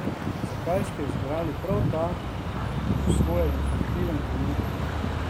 Zakaj ste izbrali prav ta, po svoje infantilen trenutek?